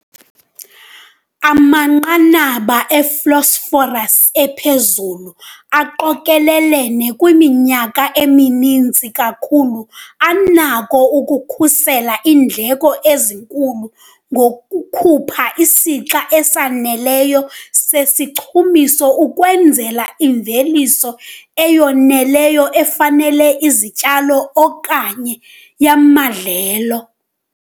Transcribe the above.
Amanqanaba e-phosphorus ephezulu aqokelelene kwiminyaka emininzi kakhulu anako ukukhusela iindleko ezinkulu ngokukhupha isixa esaneleyo sesichumiso ukwenzela imveliso eyiyeyona ifanelekileyo yezityalo okanye yamadlelo.